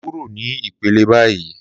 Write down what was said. kuro ni ipele bayi!